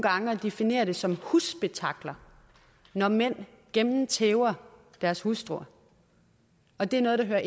gange at definere det som husspetakler når mænd gennemtæver deres hustruer og det er noget der